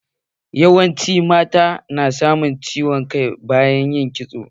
Yawancin mata na samun ciwon kai bayan kitso.